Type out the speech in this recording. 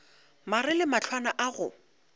mare le mahlwana a go